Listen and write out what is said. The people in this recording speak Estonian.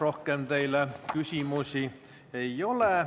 Rohkem teile küsimusi ei ole.